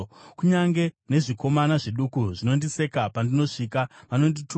Kunyange nezvikomana zviduku zvinondiseka; pandinosvika vanondituka.